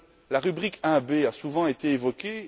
La rubrique 1b a souvent été évoquée.